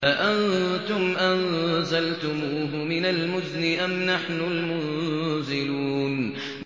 أَأَنتُمْ أَنزَلْتُمُوهُ مِنَ الْمُزْنِ أَمْ نَحْنُ الْمُنزِلُونَ